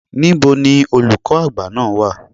Níbo ni Olùkọ́ Àgbà náà wà?